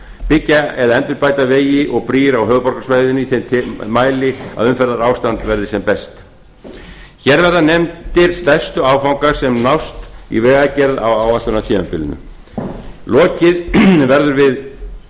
byggja eða endurbæta vegi og brýr á höfuðborgarsvæðinu í þeim mæli að umferðarástand verði sem best hér verða nefndir stærstu áfangar sem nást í vegagerð á áætlunartímabilinu lokið verður við